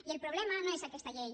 i el problema no és aquesta llei